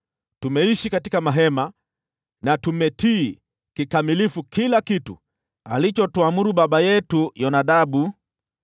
Tumeishi katika mahema na tumetii kikamilifu kila kitu alichotuamuru baba yetu Yonadabu.